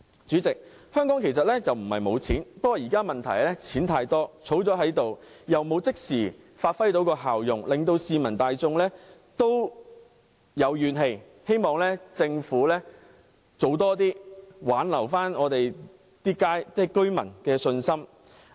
主席，香港不是沒有錢，現在的問題是錢太多，儲起來又未能即時發揮效用，令市民大眾有怨氣，希望政府多做事，挽回市民的信心。